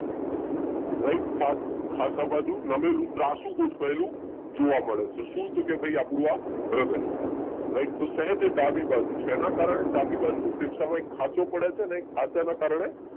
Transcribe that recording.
Right ખાંચા બાજુ ખાસા બાજુ નમેલું ત્રાંસુ ગોઠવાયેલું જોવા મળે છે શું તો કે આ ભાઈ આપણું આ હૃદય. રાઈટ તો સહેજ ડાબી બાજુ છે એના કરને ડાબી બાજુ ના ફેફસામાં એક ખાંચો પડે અને એ ખાંચા કારણે